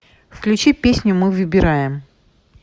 включи песню мы выбираем